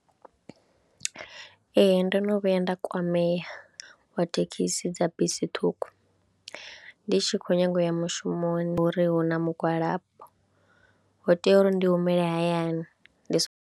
Ee ndo no vhuya nda kwamea wa thekhisi dza bisi ṱhukhu, ndi tshi khou nyaga u ya mushumoni uri hu na mugwalambo ho tea uri ndi humele hayani ndi songo.